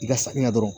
I ka safunɛ na dɔrɔn